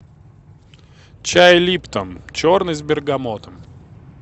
чай липтон черный с бергамотом